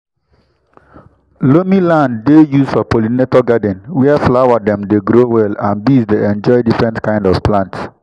loamy land dey used for pollinator garden where flower dem dey grow well and bees dey enjoy different kind of plants.